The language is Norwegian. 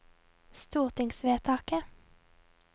stortingsvedtaket